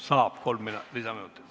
Saab kolm lisaminutit.